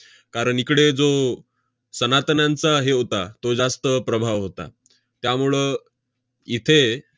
कारण इकडे जो सनातन्यांचा हे होता, तो जास्त प्रभाव होता. त्यामुळं इथे